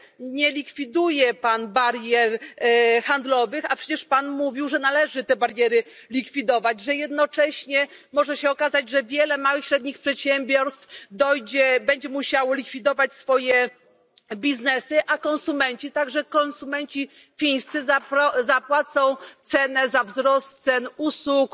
Nie likwiduje pan barier handlowych, a przecież pan mówił, że należy te bariery likwidować, że jednocześnie może się okazać, że wiele małych i średnich przedsiębiorstw będzie musiało likwidować swoją działalność, a konsumenci, także konsumenci fińscy, zapłacą cenę za wzrost cen usług